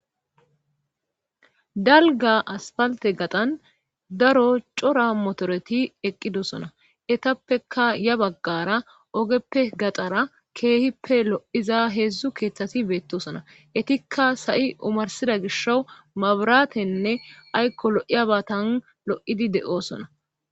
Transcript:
dalga aspalte gaxan daro cora motoreti eqqidosona etappeka ya baggara ogeppe gaxara keehippe lo7iza heedzdzu keeththati beettosona etikka sa7i umarsida gisho maburatenne aykko lo7iyabatan lo7idi de7osona